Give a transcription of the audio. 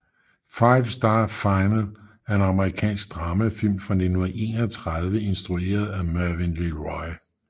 Five Star Final er en amerikansk dramafilm fra 1931 instrueret af Mervyn LeRoy